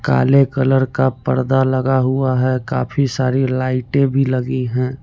काले कलर का पर्दा लगा हुआ है काफी सारी लाइटें भी लगी हैं।